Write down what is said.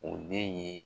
O den ye